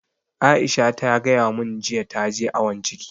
Aisha ta gaya mun jiya ta je awon ciki